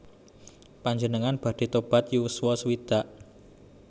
Panjenengan badhe tobat yuswa sewidak?